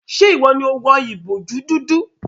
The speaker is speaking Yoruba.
Ṣe iwọ ni o wọ ìbojú dúdú?